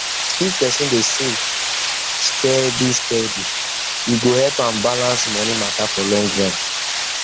if person dey save person dey save steady steady e go help am balance money matter for long run